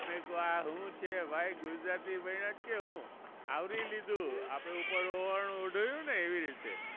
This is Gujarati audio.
મેકુ આ શું છે ભાઈ. ગુજરાતી ભણ્યા કે શું. આવરી લીધું આપણે ઉપર ઓવરણું ઓઢયું ને એવી રીતે.